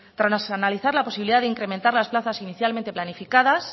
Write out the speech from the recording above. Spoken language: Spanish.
tras analizar la posibilidad de incrementar las plazas inicialmente planificadas